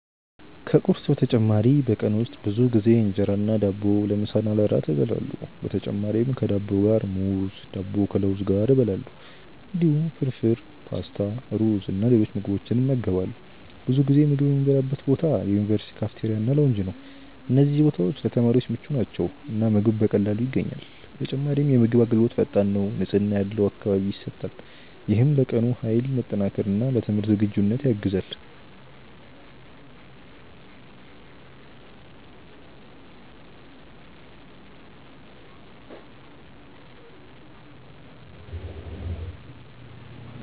ከቁርስ በተጨማሪ በቀን ውስጥ ብዙ ጊዜ እንጀራ እና ዳቦ ለምሳ እና ለእራት እበላለሁ። በተጨማሪም ከዳቦ ጋር ሙዝ፣ ዳቦ ከለውዝ ጋር እበላለሁ። እንዲሁም ፍርፍር፣ ፓስታ፣ ሩዝ እና ሌሎች ምግቦችን እመገባለሁ። ብዙ ጊዜ ምግብ የምበላበት ቦታ የዩኒቨርሲቲ ካፍቴሪያ እና ላውንጅ ነው። እነዚህ ቦታዎች ለተማሪዎች ምቹ ናቸው እና ምግብ በቀላሉ ይገኛል። በተጨማሪም የምግብ አገልግሎት ፈጣን ነው፣ ንጽህና ያለው አካባቢ ይሰጣል። ይህም ለቀኑ ኃይል መጠናከር እና ለትምህርት ዝግጁነት ያግዛል።